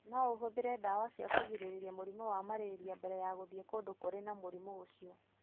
No ũhũthĩre ndawa cia kũgirĩrĩria mũrimũ wa malaria mbere ya gũthiĩ kũndũ kũrĩ na mũrimũ ũcio.